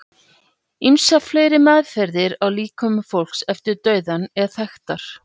ýmsar fleiri meðferðir á líkömum fólks eftir dauðann eru þekktar